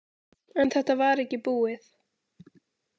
En þetta var ekki búið.